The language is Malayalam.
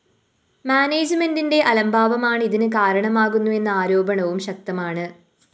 മാനേജ്‌മെന്റിന്റെ അലംഭാവമാണ് ഇതിന് കാരണമാകുന്നുവെന്ന ആരോപണവും ശക്തമാണ്